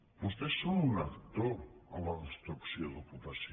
vostès són un actor en la destrucció d’ocupació